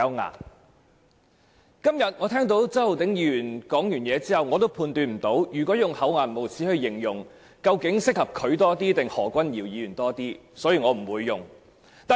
我剛才聽到周浩鼎議員發言，但我判斷不到，究竟用"厚顏無耻"來形容他還是何君堯議員更為適合，所以我不會用這個詞語。